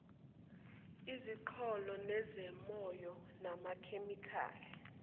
iziqholo nezimonyo namakhemikhali